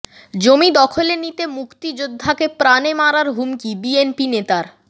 জমি দখলে নিতে মুক্তিযোদ্ধাকে প্রাণে মারার হুমকি বিএনপি নেতার